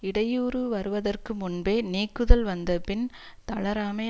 இடையூறு வருவதற்கு முன்பே நீக்குதல் வந்த பின் தளராமை